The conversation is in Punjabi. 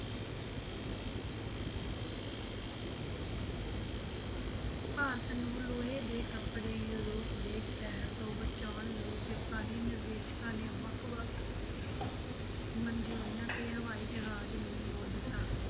ਭਾਰਤ ਨੂੰ ਲੋਹੇ ਦੇ ਕੱਪੜੇ ਯੂਰੋਪ ਦੇ ਕਹਿਰ ਤੋਂ ਬਚਾਉਣ ਲਈ ਜਪਾਨੀ ਨਿਰਦੇਸ਼ਕਾਂ ਨੇ ਵੱਖ ਵੱਖ ਮੰਨਜ਼ੂਰੀਆਂ ਤੇ ਹਵਾਈ ਜਹਾਜ਼ ਨੂੰ ਮੋੜ ਦਿੱਤਾ।